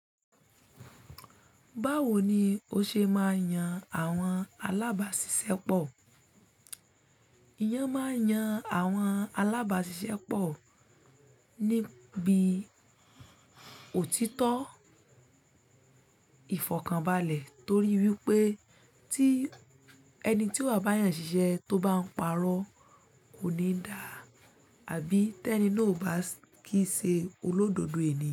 Báwo ni o ṣe máa yan àwọn alábàáṣiṣẹ́ pọ̀? Èyẹn máa yàn àwọn alábàáṣiṣẹ́ pọ̀ níbi òtítọ́ ìfọ̀kànbalẹ̀ torí wípé tí ẹni tí ó bá yàn ṣiṣẹ́ tó bá ń parọ́ kò ní dà. Àbí tẹ́ni náà ò bá kìí ṣe olódodo ènìyàn.